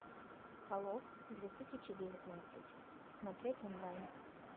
холоп две тысячи девятнадцать смотреть онлайн